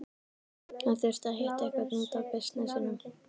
Hann þurfti að hitta einhvern út af bisnessinum.